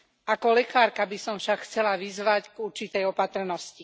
Ako lekárka by som však chcela vyzvať k určitej opatrnosti.